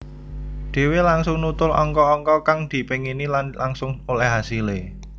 Dhéwé langsung nutul angka angka kang dipéngini lan langsung olèh hasilé